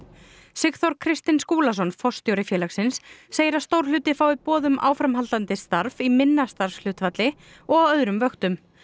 Sigþór Kristinn Skúlason forstjóri félagsins segir að stór hluti fái boð um áframhaldandi starf í minna starfshlutfalli og á öðrum vöktum